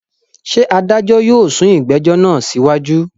Ṣé adájọ́ yóò sún ìgbẹ́jọ́ náà síwájú?